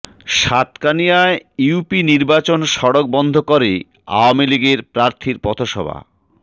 সাতকানিয়ায় UP নির্বাচন সড়ক বন্ধ করে আওয়ামী লীগের প্রার্থীর পথসভা